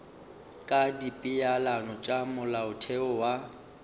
ka dipeelano tša molaotheo wa